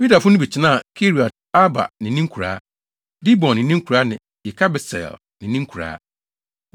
Yudafo no bi tenaa Kiriat-Arba ne ne nkuraa, Dibon ne ne nkuraa ne Yekabseel ne ne nkuraa.